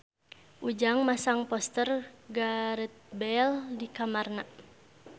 Ujang masang poster Gareth Bale di kamarna